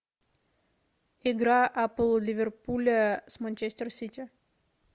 игра апл ливерпуля с манчестер сити